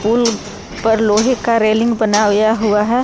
पुल पर लोहे का रेलिंग बना हुआ है।